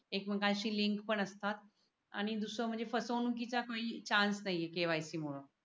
एक मेकांशी लिंक पण असता आणि दुसरे म्हणजे फसवणुकीचा काही चान्स नाहीये KYC मूळ